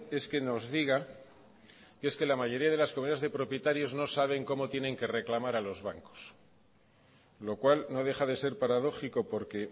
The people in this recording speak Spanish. es que nos diga que es que la mayoría de las comunidades de propietarios no saben cómo tienen que reclamar a los bancos lo cual no deja de ser paradójico porque